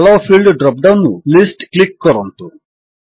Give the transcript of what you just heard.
ଆଲୋ field drop down ରୁ list click କରନ୍ତୁ